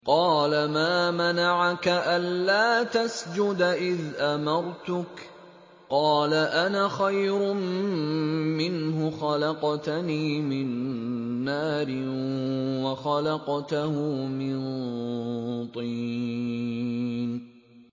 قَالَ مَا مَنَعَكَ أَلَّا تَسْجُدَ إِذْ أَمَرْتُكَ ۖ قَالَ أَنَا خَيْرٌ مِّنْهُ خَلَقْتَنِي مِن نَّارٍ وَخَلَقْتَهُ مِن طِينٍ